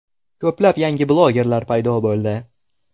Ko‘plab yangi blogerlar paydo bo‘ldi.